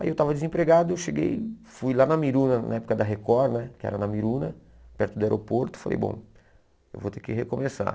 Aí eu estava desempregado, eu cheguei, fui lá na Miruna, na época da Record né, que era na Miruna, perto do aeroporto, e falei, bom, eu vou ter que recomeçar.